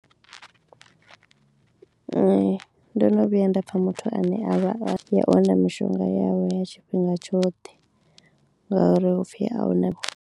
Nṋe ndo no vhuya nda pfha muthu ane a songo wana mishonga yawe ya tshifhinga tshoṱhe ngauri hupfi ahuna.